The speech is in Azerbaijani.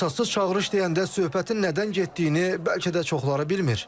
Əsassız çağırış deyəndə söhbətin nədən getdiyini bəlkə də çoxları bilmir.